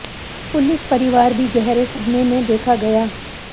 police परिवार भी गहरे सदमें में देखा गया